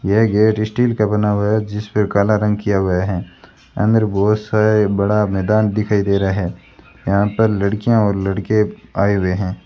यह gate steel का बना हुआ है जिस पे काला रंग किया हुआ है अंदर बहोत सारे बड़ा मैदान दिखाई दे रहा है यहां पर लड़कियां और लड़के आए हुए हैं।